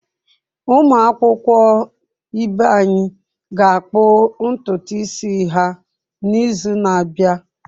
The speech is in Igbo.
Ụmụ akwụkwọ ibe anyị ga-akpụ ntutu isi ha n’izu na-abịa.